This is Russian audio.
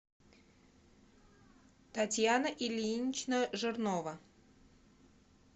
татьяна ильинична жирнова